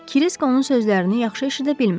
Krisk onun sözlərini yaxşı eşidə bilmədi.